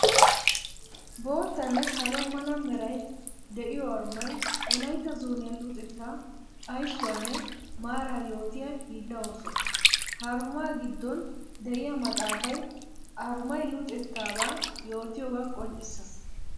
Boottanne salo mala meray de'iyo arumay wolaytta zooniya luxetta ayssuwanne maara yootiya hiilla ooso. Ha aruma gidon de'iya maxafay arumay luxetaaba yootiyooga qonccisees.